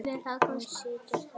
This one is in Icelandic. Hún situr þar enn.